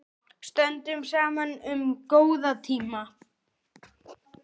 Stöndum saman um góða tíma.